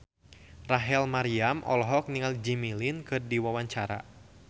Rachel Maryam olohok ningali Jimmy Lin keur diwawancara